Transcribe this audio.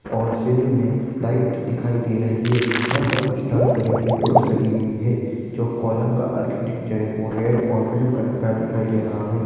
और सीलिंग में लाइट दिखाई दे रही हैं यहाँ पर कुछ ट्रांसपरेन्ट विंडोज़ लगी हुई है जो कलम का आर्किटेकचर है वो रेड और ब्लू कलर का दिखाई दे रहा है।